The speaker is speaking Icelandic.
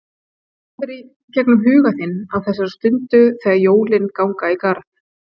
Hvað fer í gegnum huga þinn á þessari stundu þegar jólin ganga í garð?